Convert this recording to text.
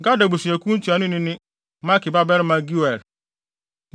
Gad abusuakuw no ntuanoni ne Maki babarima Geuel.